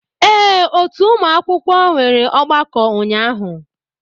Ee otu ụmụ akwụkwọ nwere ọgbakọ ụnyahụ